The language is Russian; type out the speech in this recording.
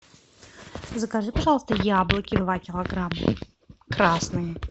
закажи пожалуйста яблоки два килограмма красные